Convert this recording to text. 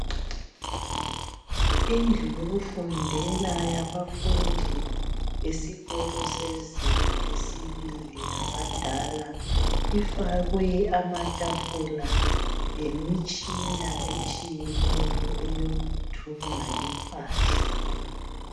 Indlu yokufundela yabafundi besikolo sezinga lesibili labadala ifakwe amatafula lemitshina etshiyeneyo eyokuthunga impahla.